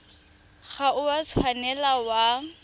ga o a tshwanela wa